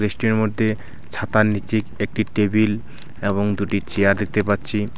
বৃষ্টির মধ্যে ছাতার নীচে একটি টেবিল এবং দুটি চেয়ার দেখতে পাচ্ছি .